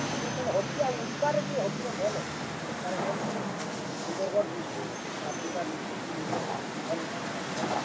ଜାତୀୟ ଖେଲ୍ ତ Hockey ଆଉ, ଉଡିଶାରେ ବି Hockey ର ଭଲ୍ ଅଛେ। ଉଡିଶାରେ mainly Sundargarh district , Jharsuguda district area ରେ ଭଲ୍ ଅଛନ୍।